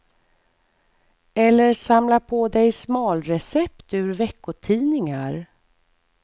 Eller samla på dig smalrecept ur veckotidningar.